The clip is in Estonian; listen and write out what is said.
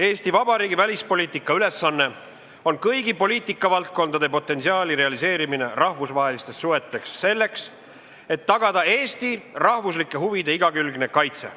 Eesti Vabariigi välispoliitika ülesanne on kõigi poliitikavaldkondade potentsiaali realiseerimine rahvusvahelistes suhetes selleks, et tagada Eesti rahvuslike huvide igakülgne kaitse.